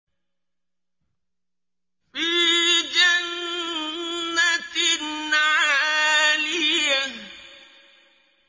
فِي جَنَّةٍ عَالِيَةٍ